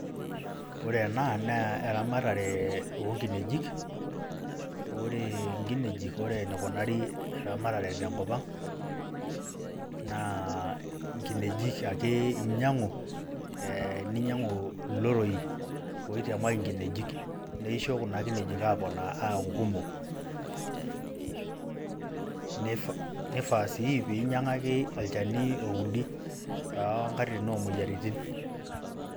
Ore ena naa eramatare oo nkinejik. Ore enkinejik ore enekunari eramatare tenkopang' naa inkinejik ake enyiangu ee ninyiangu ilorroyi ooitiamaki enkinejik neisho kuna kinejik aaponari aaku kumok nifaa sii peyie inyiangaki olchani oudi too nkatitin oo moyiaritin.